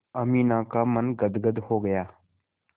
अमीना का मन गदगद हो गया